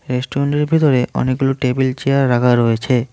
রেস্টুরেন্টের ভেতরে অনেকগুলো টেবিল চেয়ার রাখা রয়েছে।